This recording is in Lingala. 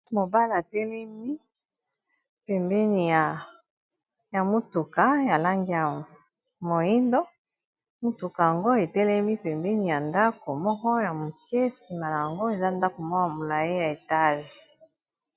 mobala atelemi pembeni ya motuka ya lange ya moindo mutuka yango etelemi pembeni ya ndako moko ya moke simalyango eza ndako mwa yambulae ya etage